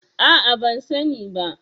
A'a ban sani ba.